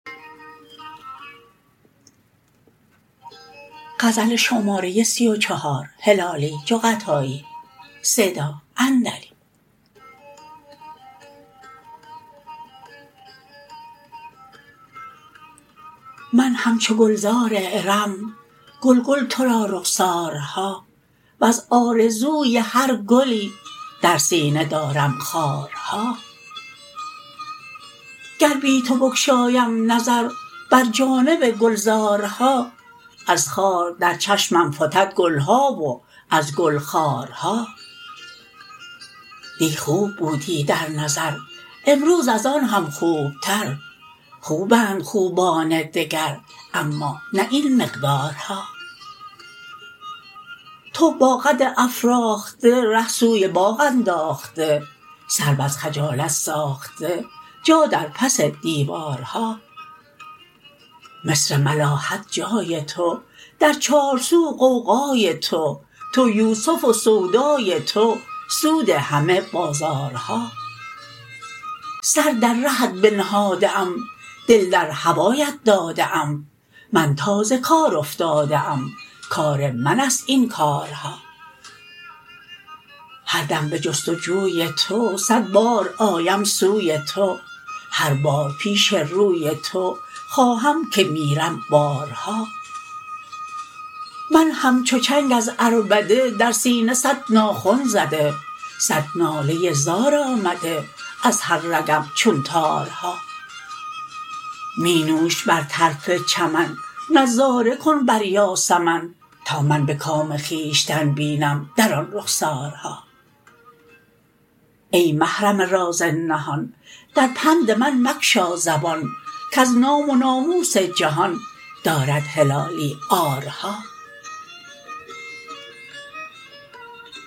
من همچو گلزار ارم گل گل ترا رخسارها وز آرزوی هر گلی در سینه دارم خارها گر بی تو بگشایم نظر بر جانب گلزارها از خار در چشمم فتد گلها و از گل خارها دی خوب بودی در نظر امروز از آن هم خوب تر خوبند خوبان دگر اما نه این مقدارها تو با قد افراخته ره سوی باغ انداخته سرو از خجالت ساخته جا در پس دیوارها مصر ملاحت جای تو در چار سو غوغای تو تو یوسف و سودای تو سود همه بازارها سر در رهت بنهاده ام دل در هوایت داده ام من تازه کار افتاده ام کار منست این کارها هر دم بجست و جوی تو صد بار آیم سوی تو هر بار پیش روی تو خواهم که میرم بارها من همچو چنگ از عربده در سینه صد ناخن زده صد ناله زار آمده از هر رگم چون تارها می نوش بر طرف چمن نظاره کن بر یاسمن تا من بکام خویشتن بینم در آن رخسارها ای محرم راز نهان در پند من مگشا زبان کز نام و ناموس جهان دارد هلالی عارها